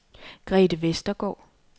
Grete Vestergaard